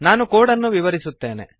ನಾನು ಕೋಡನ್ನು ವಿವರಿಸುತ್ತೇನೆ